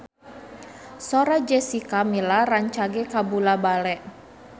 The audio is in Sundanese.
Sora Jessica Milla rancage kabula-bale